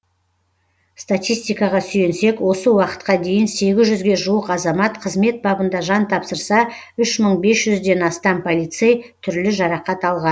статистикаға сүйенсек осы уақытқа дейін сегіз жүзге жуық азамат қызмет бабында жан тапсырса үш мың бес жүзден астам полицей түрлі жарақат алған